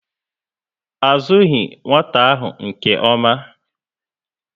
A zughi nwata ahụ nke ómá